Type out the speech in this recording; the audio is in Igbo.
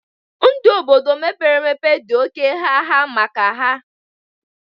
Ndụ Obodo mepere emepe dị oké gha gha maka ha